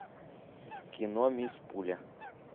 кино мисс пуля